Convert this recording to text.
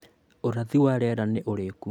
Ũrathi wa rĩera nĩ ũrĩkũ?